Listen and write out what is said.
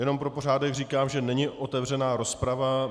Jenom pro pořádek říkám, že není otevřená rozprava.